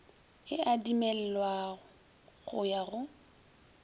e adimelwa go ya go